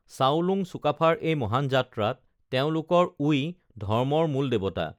চাওলুং চুকাফাৰ এই মহান যাত্ৰাত তেওঁলোকৰ ওই ধৰ্মৰ মূল দেৱতা